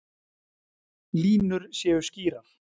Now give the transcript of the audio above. Línur séu skýrar